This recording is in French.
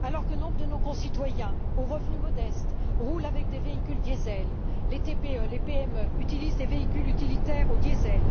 alors que nombre de nos concitoyens aux revenus modestes roulent avec des véhicules diésel et que les TPE et les PME utilisent des véhicules utilitaires au diésel.